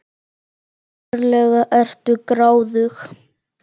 Ferlega ertu gráðug!